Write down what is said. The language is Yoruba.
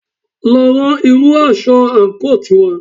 Lọ rán irú aṣọ àǹkóò tiwa